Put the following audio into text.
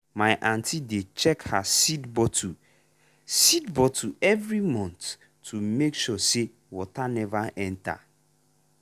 my aunty dey check her seed bottle seed bottle every month to make sure say water never enter.